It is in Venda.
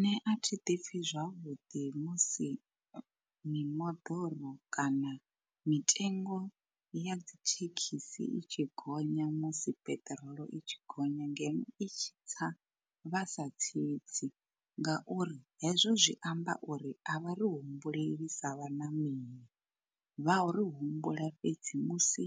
Nṋe a thi ḓi pfi zwavhuḓi musi mimoḓoro kana mitengo ya dzithekhisi i tshi gonya musi peṱirolo i tshi gonya ngeno i tshi tsa vhasa tsitsi. Ngauri hezwo zwi amba uri a vha ri humbuleli sa vhaṋameli, vhari humbula fhedzi musi